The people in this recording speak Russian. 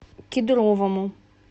кедровому